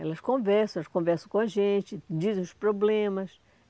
Elas conversam, elas conversam com a gente, dizem os problemas.